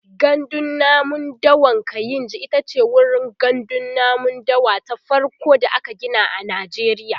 gandun namun dawan kainji itace wurin gandun namun dawa ta farko da aka Gina a najeriya